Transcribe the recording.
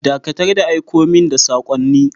Dakatar da aiko min da sakonni!